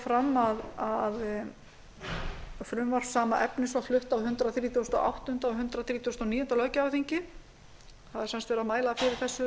fram að frumvarp sama efnis var flutt á hundrað þrítugasta og áttunda og hundrað þrítugasta og níunda löggjafarþingi það er sem sagt verið að mæla fyrir þessu